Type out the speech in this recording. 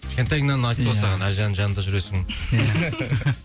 кішкентайыңнан айтты ғой саған әлжанның жанында жүресің